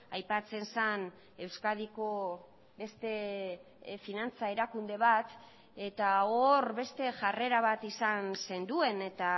aipatzen zen euskadiko beste finantza erakunde bat eta hor beste jarrera bat izan zenduen eta